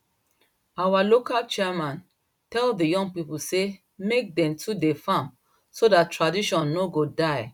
our local chairman tell the young people say make dem too dey farm so dat tradition no go die